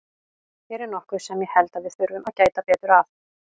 Hér er nokkuð sem ég held að við þurfum að gæta betur að.